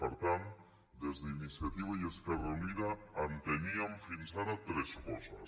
per tant des d’iniciativa i esquerra unida enteníem fins ara tres coses